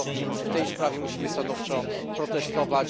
Dlatego w tej sprawie musimy stanowczo protestować.